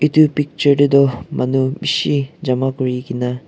Etu picture te toh manu beshi jama kuri kena--